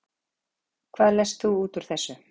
Hvað lest þú út úr þessu?